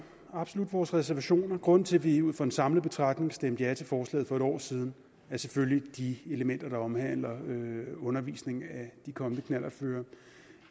absolut vores reservationer grunden til at vi ud fra en samlet betragtning stemte ja til forslaget for et år siden var selvfølgelig de elementer der omhandler undervisning af de kommende knallertkørere